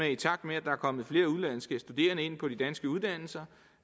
at i takt med at der kommer flere udenlandske studerende ind på de danske uddannelser